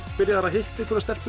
byrjaður að hitta einhverja stelpu